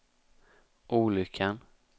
olyckan